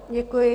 Děkuji.